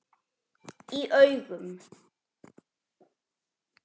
Í augum